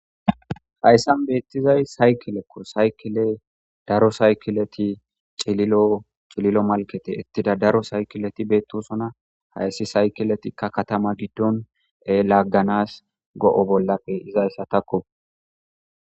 Hassan beettizay sayikilekko ,sayikey cililo, cililo malketi daro saykileti beettosona sayikilettikka katama giddon laaganas go7a bolla pe7izaysako.